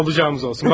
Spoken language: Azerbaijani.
Olanımız olsun.